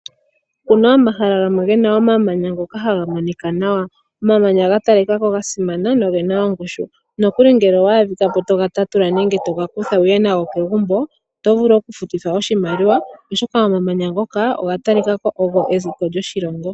Opu na omahala gamwe ge na omamanya ngoka haga monika nawa, omamanya ga talika ko gasimana noge na ongushu. Nokuli ngele owa adhika ko toga tatula nenge wa hala wuye nago kegumbo, oto vulu okufutithwa oshimaliwa oshoka omamanya ngoka oga talika ko ogo ezeko lyoshilongo.